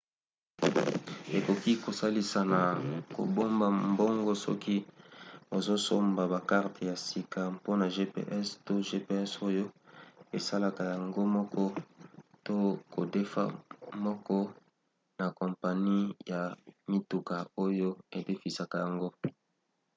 ekoki kosalisa na kobomba mbongo soki ozosomba bakarte ya sika mpona gps to gps oyo esalaka yango moko to kodefa moko na kompani ya mituka oyo edefisaka yango